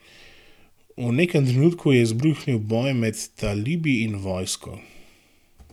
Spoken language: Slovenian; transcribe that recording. V nekem trenutku je izbruhnil boj med talibi in vojsko.